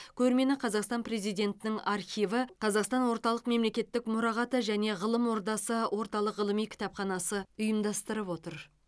көрмені қазақстан президентінің архиві қазақстан орталық мемлекеттік мұрағаты және ғылым ордасы орталық ғылыми кітапханасы ұйымдастырып отыр